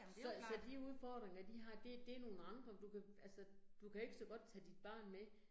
Så så de udfordringer, de har, det det nogle andre, du kan altså, du kan ikke så godt tage dit barn med